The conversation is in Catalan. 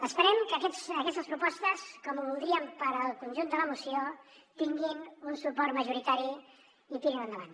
esperem que aquestes propostes com ho voldríem per al conjunt de la moció tinguin un suport majoritari i tirin endavant